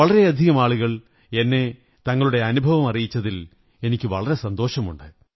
വളരെയധികം ആളുകൾ എന്നെ തങ്ങളുടെ അനുഭവമറിയിച്ചതിൽ എനിക്കു വളരെ സന്തോഷമുണ്ട്